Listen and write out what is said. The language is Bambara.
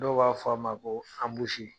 Dɔw b'a fɔ a ma ko anbusi.